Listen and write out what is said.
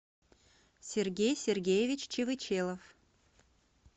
сергей сергеевич чевычелов